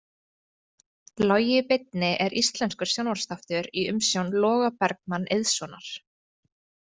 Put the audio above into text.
Logi í beinni er íslenskur sjónvarpsþáttur í umsjón Loga Bergmann Eiðssonar.